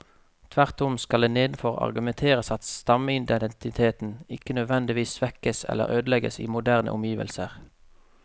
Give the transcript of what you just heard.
Tvert om skal det nedenfor argumenteres at stammeidentiteten ikke nødvendigvis svekkes eller ødelegges i moderne omgivelser.